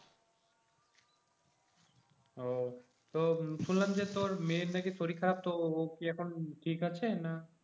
ও তো শুনলাম তোর মেয়ের নাকি শরীর খারাব তো ও কি এখন ঠিক আছে না